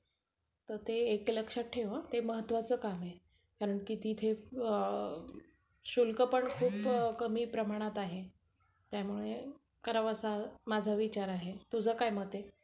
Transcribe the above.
तर ते लक्षात ठेव हा. ते महत्वाचं काम आहे. कारण कि तिथे शुल्क पण खूप कमी प्रमाणात आहे. त्यामुळे करावं असा माझा विचार आहे. तुझं काय मत आहे?